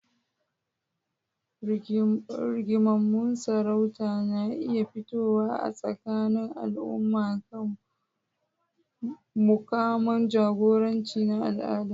Rigingimun sarauta na iya fitowa a tsakanin al'umma akan mukaman jagoranci na al'ada.